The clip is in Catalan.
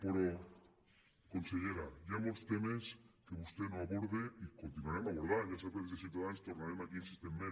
però consellera hi ha molts temes que vostè no aborda i continuarem abordant ja sap que des de ciutadans tornarem aquí insistentment